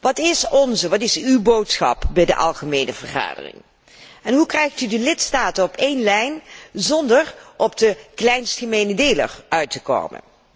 Wat is onze, wat is uw boodschap bij de Algemene Vergadering? Hoe krijgt u de lidstaten op één lijn zonder op de kleinst gemene deler uit te komen?